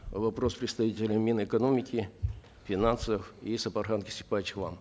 вопрос представителям мин экономики финансов и сапархан кесикбаевич вам